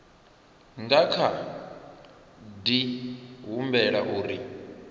nga kha di humbela uri